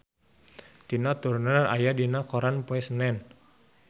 Tina Turner aya dina koran poe Senen